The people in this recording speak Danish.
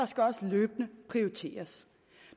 skal også løbende prioriteres